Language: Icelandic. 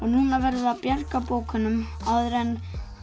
núna verðum við að bjarga bókunum áður en